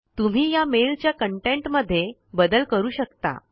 तुम्ही या मेल च्या कंटेंट मध्ये बदल करू शकता